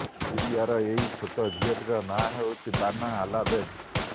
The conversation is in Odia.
ସିରିୟାର ଏହି ଛୋଟ ଝିଅଟିର ନାଁ ହେଉଛି ବାନା ଆଲାବେଦ୍